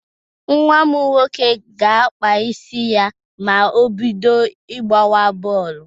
Nwa m nwoke ga-akpa isi ya ma o bido gbawa bọọlụ